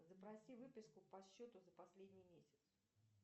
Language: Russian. запроси выписку по счету за последний месяц